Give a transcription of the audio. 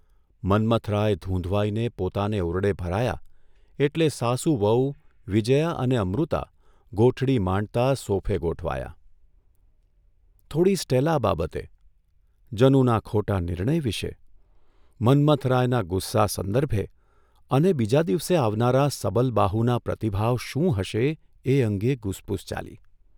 મન્મથરાય ધૂંધવાઇને પોતાને ઓરડે ભરાયા એટલે સાસુ વહુ, વિજયા અને અમૃતા ગોઠડી માંડતાં સોફે ગોઠવાયાં, થોડી સ્ટેલા બાબતે, જનુના ખોટા નિર્ણય વિશે, મન્મથરાયના ગુસ્સા સંદર્ભે અને બીજા દિવસે આવનારા સબલબાહુના પ્રતિભાવ શું હશે એ અંગે ગુસપુસ ચાલી.